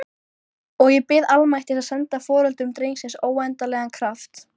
Hann drattaðist á fætur og hökti í skjól til